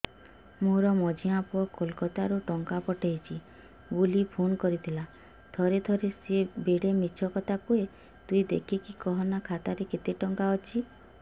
ମୋର ମଝିଆ ପୁଅ କୋଲକତା ରୁ ଟଙ୍କା ପଠେଇଚି ବୁଲି ଫୁନ କରିଥିଲା ଥରେ ଥରେ ସିଏ ବେଡେ ମିଛ କଥା କୁହେ ତୁଇ ଦେଖିକି କହନା ଖାତାରେ କେତ ଟଙ୍କା ଅଛି